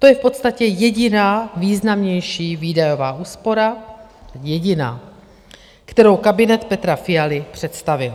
To je v podstatě jediná významnější výdajová úspora, jediná, kterou kabinet Petra Fialy představil.